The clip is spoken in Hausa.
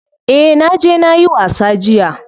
Eh naje nayi wasa jiya.